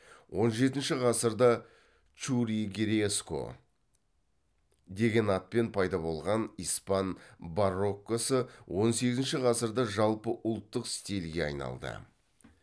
он жетінші ғасырда чурригереско деген атпен пайда болған испан бароккосы он сегізінші ғасырда жалпы ұлттық стильге айналды